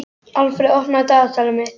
Alfreð, opnaðu dagatalið mitt.